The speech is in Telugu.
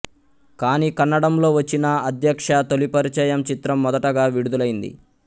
కానీ కన్నడంలో వచ్చిన అధ్యక్ష తొలిపరిచయం చిత్రం మొదటగా విడుదలైంది